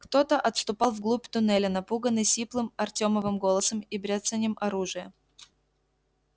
кто-то отступал вглубь туннеля напуганный сиплым артёмовым голосом и бряцанием оружия